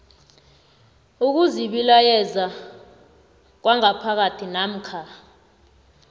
ukuzibilayeza kwangaphakathi namkha